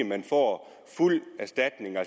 man får fuld erstatning og